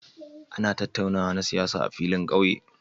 Ana tattaunawa na siyasa a filin ƙauye.